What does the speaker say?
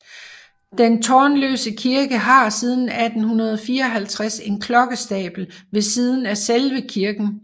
Den tårnløse kirke har siden 1854 en klokkestabel ved siden af selve kirken